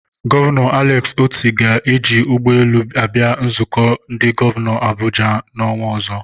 Gọvanọ Alex Otti ga-eji ụgbọelu abịa nzukọ ndị gọvanọ n'Abuja n'ọnwa ọzọ.